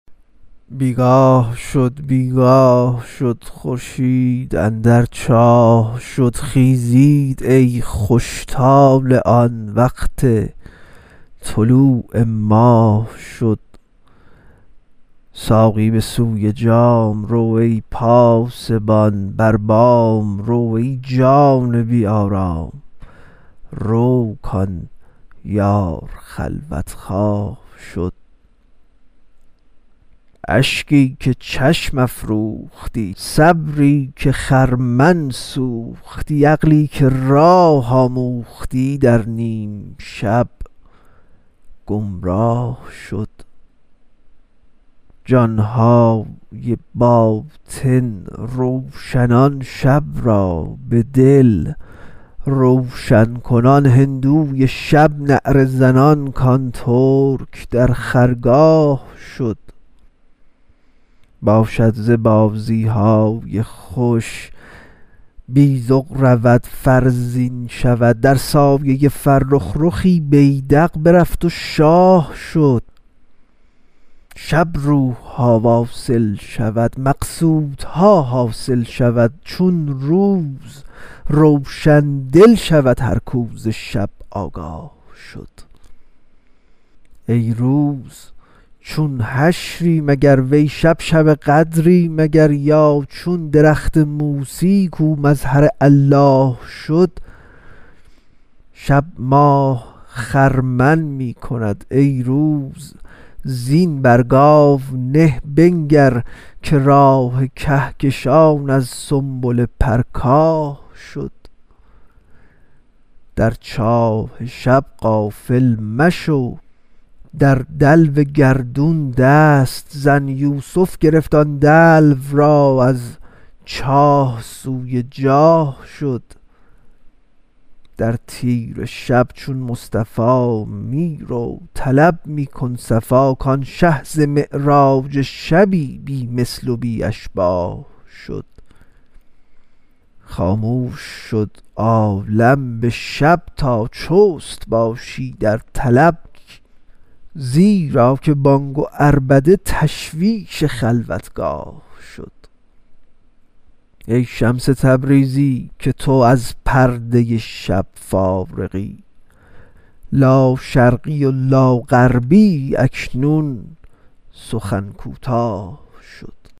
بی گاه شد بی گاه شد خورشید اندر چاه شد خیزید ای خوش طالعان وقت طلوع ماه شد ساقی به سوی جام رو ای پاسبان بر بام رو ای جان بی آرام رو کان یار خلوت خواه شد اشکی که چشم افروختی صبری که خرمن سوختی عقلی که راه آموختی در نیم شب گمراه شد جان های باطن روشنان شب را به دل روشن کنان هندوی شب نعره زنان کان ترک در خرگاه شد باشد ز بازی های خوش بیذق رود فرزین شود در سایه فرخ رخی بیذق برفت و شاه شد شب روح ها واصل شود مقصودها حاصل شود چون روز روشن دل شود هر کو ز شب آگاه شد ای روز چون حشری مگر وی شب شب قدری مگر یا چون درخت موسیی کو مظهر الله شد شب ماه خرمن می کند ای روز زین بر گاو نه بنگر که راه کهکشان از سنبله پرکاه شد در چاه شب غافل مشو در دلو گردون دست زن یوسف گرفت آن دلو را از چاه سوی جاه شد در تیره شب چون مصطفی می رو طلب می کن صفا کان شه ز معراج شبی بی مثل و بی اشباه شد خاموش شد عالم به شب تا چست باشی در طلب زیرا که بانگ و عربده تشویش خلوتگاه شد ای شمس تبریزی که تو از پرده شب فارغی لاشرقی و لاغربیی اکنون سخن کوتاه شد